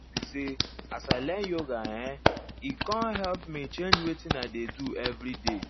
di truth be say as i learn yoga[um]e com help me change wetin i dey do everyday